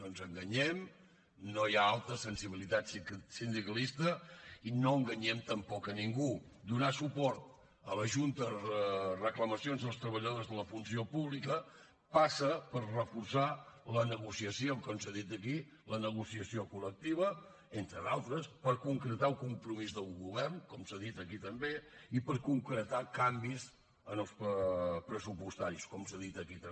no ens enganyem no hi ha alta sensibilitat sindicalista i no enganyem tampoc a ningú donar suport a la junta a reclamacions dels treballadors de la funció pública passa per reforçar la negociació com s’ha dit aquí la negociació col·lectiva entre d’altres per concretar un compromís del govern com s’ha dit aquí també i per concretar canvis pressupostaris com s’ha dit aquí també